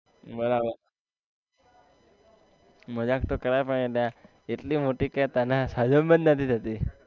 બરાબર મજાક તો કરાય પણ અલા એટલી મોટી કે તને હજમ જ નથી થતી